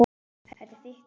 Þetta er þitt hús.